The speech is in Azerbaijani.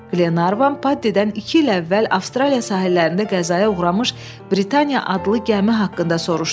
Qlenarvan Paddidən iki il əvvəl Avstraliya sahillərində qəzaya uğramış Britaniya adlı gəmi haqqında soruşdu.